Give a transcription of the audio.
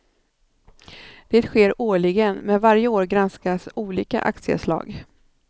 Det sker årligen men varje år granskas olika aktieslag.